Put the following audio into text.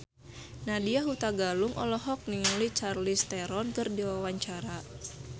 Nadya Hutagalung olohok ningali Charlize Theron keur diwawancara